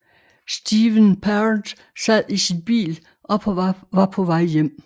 Steven Parent sad i sin bil og var på vej hjem